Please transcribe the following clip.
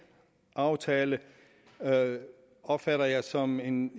aftale opfatter jeg som en